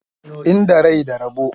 Inda rai da rabo.